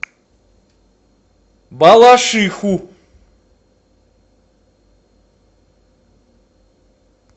балашиху